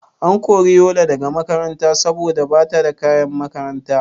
An kori Yola daga makaranta saboda bata da kayan makaranta?